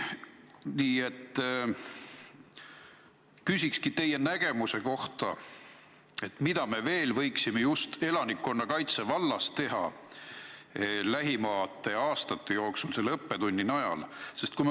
Nii et küsikski teie nägemuse kohta, mida me veel võiksime just elanikkonnakaitse vallas teha lähimate aastate jooksul selle õppetunni järgi.